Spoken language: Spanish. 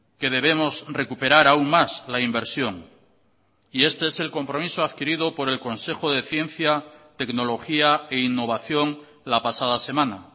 que debemos recuperar aún más la inversión y este es el compromiso adquirido por el consejo de ciencia tecnología e innovación la pasada semana